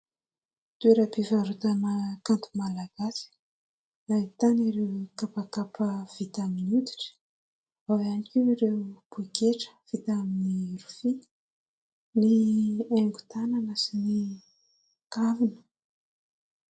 Toeram-pivarotana kanto malagasy ahitana ireo kapakapa vita amin'ny oditra, ao ihany koa ireo poketra vita amin'ny rofia, ny haingon-tanana sy ny kavina.